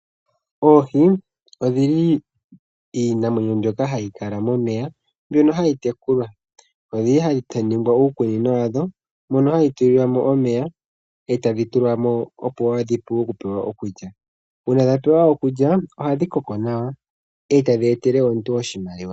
Oohi odhili iinamwenyo mbyoka hayi kala momeya mbyono hayi tekulwa odhili hadhi ningilwa iikunino wadho mono hadhi tulilwamo eta dhi tulwamo opo dhi